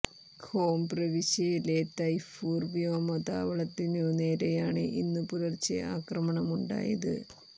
home പ്രവിശ്യയിലെ തയ്ഫൂർ വ്യോമതാവളത്തിനു നേരെയാണ് ഇന്നു പുലർച്ചെ അക്രമം ഉണ്ടായത്